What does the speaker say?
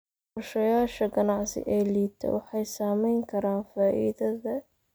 Qorshayaasha ganacsi ee liita waxay saameyn karaan faa'iidada.